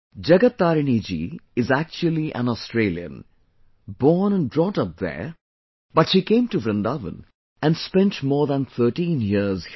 Jagat Tarini ji is actually an Australian...born and brought up there, but she came to Vrindavan and spent more than 13 years here